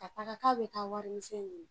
Ka taga k'a bɛ taa wari misɛn ɲini